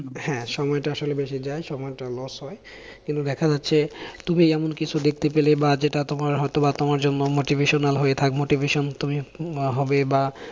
হ্যাঁ সময়টা আসলে বেঁচে যায়, সময়টা loss হয় কিন্তু দেখা যাচ্ছে তুমি এমনকিছু দেখতে পেলে বা যেটা তোমার বা হয়তো বা তোমার জন্য motivational হয়ে থাকে motivation আহ তুমি হবে, বা